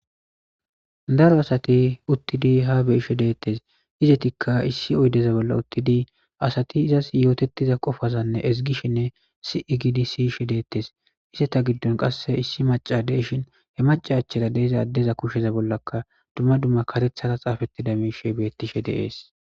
Daro asati uttidi ha beishe deettes izetikka issi oydeza bolla uttidi asati izas yootettiza qofazanne ezigishinne si7i giidi siyishe deettes ise ta giddon qasse issi maca deishin he maca achera deeza addeza kushsheza bollaka dumma dumma karethhara xaafettida mishe beettishe deees.